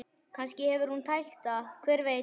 Kannski hefur hún tælt hann, hver veit?